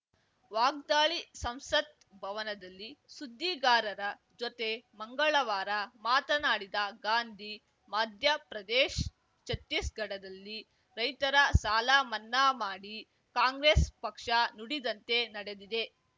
ವಾಗ್ದಾಳಿ ಸಂಸತ್‌ ಭವನದಲ್ಲಿ ಸುದ್ದಿಗಾರರ ಜೊತೆ ಮಂಗಳವಾರ ಮಾತನಾಡಿದ ಗಾಂಧಿ ಮಧ್ಯಪ್ರದೇಶ್ ಛತ್ತೀಸ್‌ಗಢದಲ್ಲಿ ರೈತರ ಸಾಲ ಮನ್ನಾ ಮಾಡಿ ಕಾಂಗ್ರೆಸ್‌ ಪಕ್ಷ ನುಡಿದಂತೆ ನಡೆದಿದೆ